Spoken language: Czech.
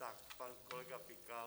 Tak pan kolega Pikal.